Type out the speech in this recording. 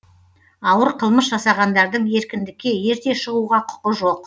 ауыр қылмыс жасағандардың еркіндікке ерте шығуға құқы жоқ